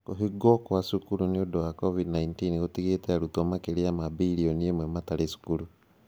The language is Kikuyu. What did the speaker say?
Kũhingwo kwa cukuru nĩ ũndũ wa COVID-19 gũtigĩte arutwo makĩria birioni ĩmwe matarĩ cukuru.